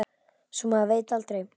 Svo maður veit aldrei.